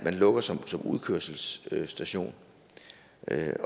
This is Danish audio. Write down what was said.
lukket som udkørselsstation